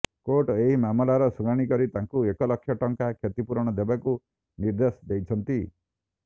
court ଏହି ମାମଲାର ଶୁଣାଣି କରି ତାଙ୍କୁ ଏକ ଲକ୍ଷ ଟଙ୍କା କ୍ଷତି ପୂରଣ ଦେବାକୁ ନିର୍ଦ୍ଦେଶ ଦେଇଛନ୍ତି